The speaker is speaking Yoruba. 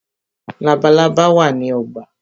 Labalábá wá ní ogbà.